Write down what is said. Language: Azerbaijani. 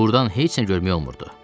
Burdan heç nə görmək olmurdu.